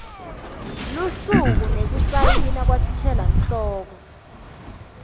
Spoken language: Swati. lusuku nekusayina kwathishelanhloko